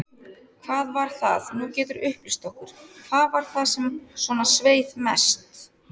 Hvað var það, nú geturðu upplýst okkur, hvað var það sem svona sveið mest?